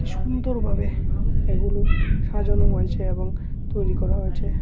সুন্দরভাবে এগুলো সাজানো হয়েছে এবং তৈরি করা হয়েছে।